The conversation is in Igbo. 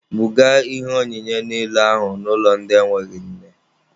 Buga ihe onyinye niile ahụ n'ụlọ ndị enweghị nne!.